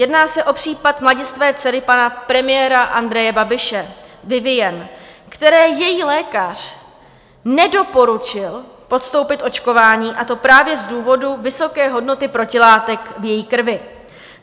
Jedná se o případ mladistvé dcery pana premiéra Andreje Babiše Vivien, které její lékař nedoporučil podstoupit očkování, a to právě z důvodů vysoké hodnoty protilátek v její krvi.